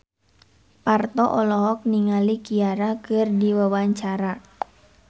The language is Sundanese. Parto olohok ningali Ciara keur diwawancara